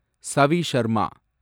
Savi Sharma